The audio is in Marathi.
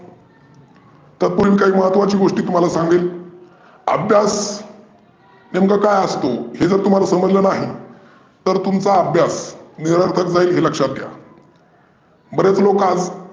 त्यात काही महत्वाच्या गोष्टी तुम्हाला सांगेनअभ्यास नेमका काय असतो? हे जर तुम्हाला समजलं नाही तर तुमचा अभ्यास मिळत नाही हे लक्षात घ्या. बरेचंं लोक